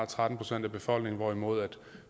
tretten procent af befolkningen hvorimod